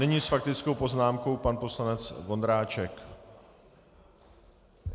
Nyní s faktickou poznámkou pan poslanec Vondráček.